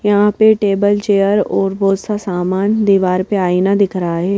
यहां पे table chair और बहुत सा सामान दीवार पे आईना दिख रहा है।